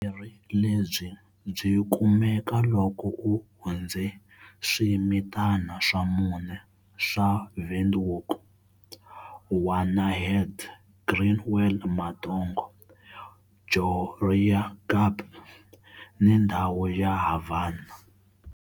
Vuyimeri lebyi byi kumeka loko u hundze swimitna swa mune swa Windhoek-Wanaheda, Greenwell Matongo, Goreangab, ni ndhawu ya Havana.